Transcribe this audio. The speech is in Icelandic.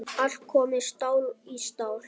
Allt komið stál í stál.